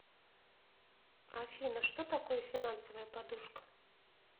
афина что такое финансовая подушка